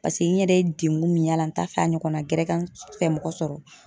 Pase n yɛrɛ ye deŋun min y'a la n t'a fɛ a ɲɔgɔnna gɛrɛ ka n fɛmɔgɔ sɔrɔ.